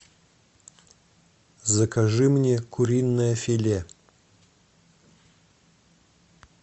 закажи мне куриное филе